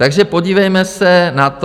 Takže podívejme se na to.